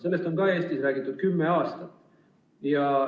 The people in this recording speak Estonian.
Sellest on Eestis räägitud kümme aastat.